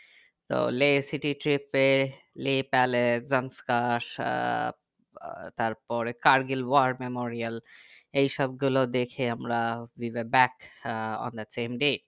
তো Leh city trip এ লি প্যালেস জংস্কা সাব আহ তারপরে কার্গিল war memorial এই সব গুলো দেখে আমরা we are back আহ আমরা